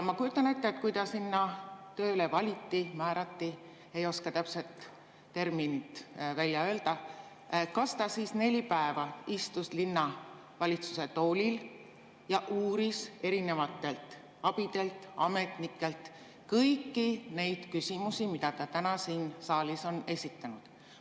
Kui ta sinna tööle valiti või määrati – ei oska täpset terminit öelda –, kas ta siis neli päeva istus linnavalitsuse toolil ja uuris erinevatelt abidelt ja ametnikelt kõiki neid küsimusi, mida ta täna siin saalis on esitanud?